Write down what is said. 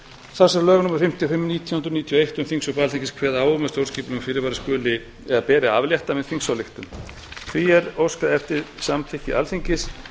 þar sem lög númer fimmtíu og fimm nítján hundruð níutíu og eitt um þingsköp alþingis kveða á um að stjórnskipulegum fyrirvara skuli eða beri að aflétta með þingsályktun því er óskað eftir því samþykki alþingis